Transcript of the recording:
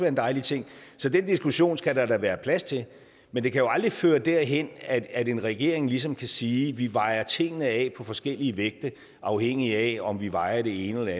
en dejlig ting så den diskussion skal der da være plads til men det kan jo aldrig føre derhen at en regering ligesom kan sige vi vejer tingene af på forskellige vægte afhængigt af om vi vejer det ene eller